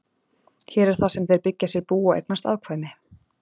Hér er það sem þeir byggja sér bú og eignast afkvæmi.